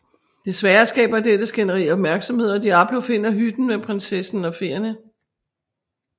Desværre skaber dette skænderi opmærksomhed og Diablo finder hytten med prinsessen og feerne